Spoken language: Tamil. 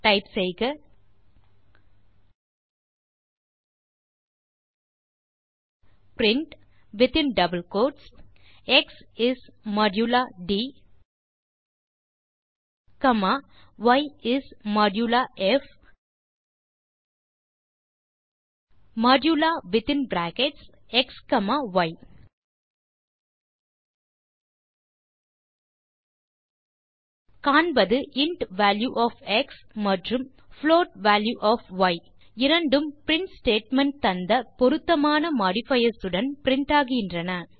டைப் செய்க print within double quotes x is modulo d comma y is modulo f modulo within brackets x comma y காண்பது இன்ட் வால்யூ ஒஃப் எக்ஸ் மற்றும் புளோட் வால்யூ ஒஃப் ய் இரண்டும் பிரின்ட் ஸ்டேட்மெண்ட் தந்த பொருத்தமான மாடிஃபயர்ஸ் உடன் பிரின்ட் ஆகின்றன